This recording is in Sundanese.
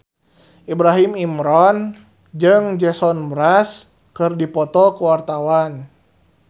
Ibrahim Imran jeung Jason Mraz keur dipoto ku wartawan